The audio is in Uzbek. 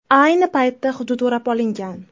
Ayni paytda hudud o‘rab olingan.